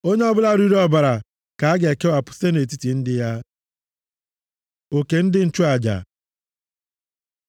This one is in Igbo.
Onye ọbụla riri ọbara ka a ga-ekewapụ site nʼetiti ndị ya.’ ” Oke ndị nchụaja